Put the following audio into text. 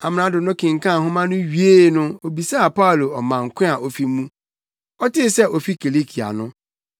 Amrado no kenkan nhoma no wiee no obisaa Paulo ɔman ko a ofi mu. Ɔtee sɛ ofi Kilikia no,